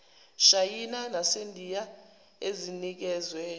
shayina nasendiya ezinikezwe